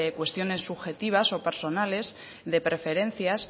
cuestiones subjetivos o personales de preferencias